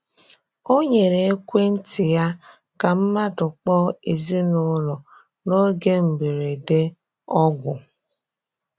Ọ nyerè ekwentị ya ka mmadụ kpọọ ezinụlọ n’oge mberede ọgwụ.